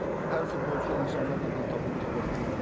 Hər futbolçu insanlarla dil tapa bilmir.